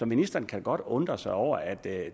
ministeren kan godt undre sig over at